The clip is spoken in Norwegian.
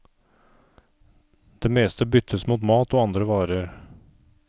Det meste byttes mot mat og andre varer.